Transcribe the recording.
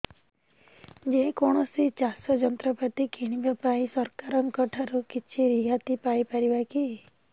ଯେ କୌଣସି ଚାଷ ଯନ୍ତ୍ରପାତି କିଣିବା ପାଇଁ ସରକାରଙ୍କ ଠାରୁ କିଛି ରିହାତି ପାଇ ପାରିବା କି